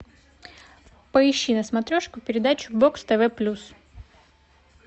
поищи на смотрешке передачу бокс тв плюс